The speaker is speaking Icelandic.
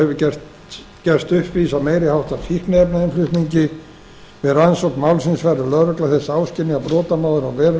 hefur gerst uppvís að meiri háttar fíkniefnainnflutningi við rannsókn málsins verður lögregla þess áskynja að brotamaður á verulegar eignir